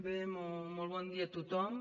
bé molt bon dia a tothom